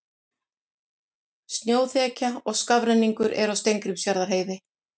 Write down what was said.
Snjóþekja og skafrenningur er á Steingrímsfjarðarheiði